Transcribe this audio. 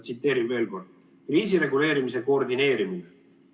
Tsiteerin veel kord: ""Kriisireguleerimise koordineerimine".